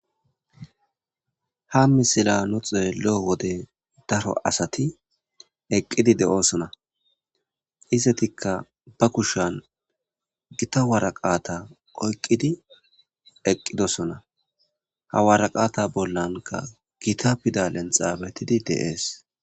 Ha misila no xeelo7o wode daro asati eqqidi de7osona istetikka ba kushan gita waraqata oyqqidi eqqidosona ha waraqata bollanka gita pidalenxaabetidi deees